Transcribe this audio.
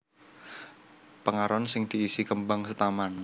Pengaron sing diisi kembang setaman